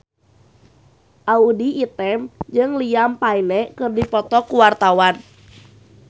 Audy Item jeung Liam Payne keur dipoto ku wartawan